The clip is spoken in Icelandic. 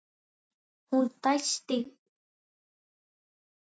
Hún dæsti fyrir framan hann.